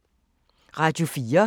Radio 4